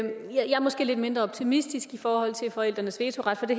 måske lidt mindre optimistisk i forhold til forældrenes vetoret for det